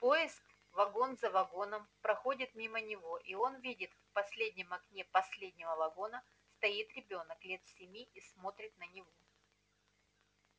поезд вагон за вагоном проходит мимо него и он видит в последнем окне последнего вагона стоит ребёнок лет семи и смотрит на него